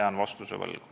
Jään vastuse võlgu.